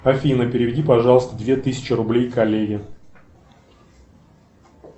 афина переведи пожалуйста две тысячи рублей коллеге